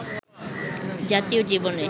জাতীয় জীবনে